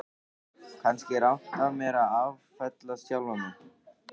Kannski er rangt af mér að áfellast sjálfan mig.